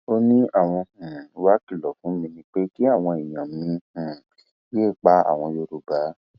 ó ní àwọn um wàá kìlọ fún mi ni pé kí àwọn èèyàn mi um yéé pa àwọn yorùbá